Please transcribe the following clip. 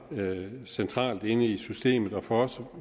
centralt inde i systemet og for os